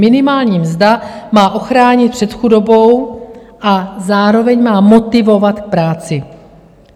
Minimální mzda má ochránit před chudobou a zároveň má motivovat k práci.